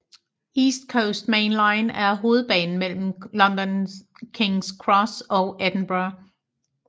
East Coast Main Line er hovedbanen mellem London Kings Cross og Edinburgh